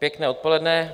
Pěkné odpoledne.